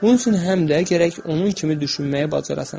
Bunun üçün həm də gərək onun kimi düşünməyi bacarasan.